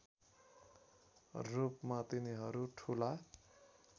रूपमा तिनीहरू ठुला